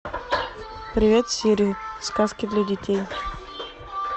привет сири сказки для детей